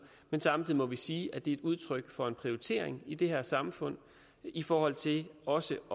men samtidig må vi sige at det er udtryk for en prioritering i det her samfund i forhold til også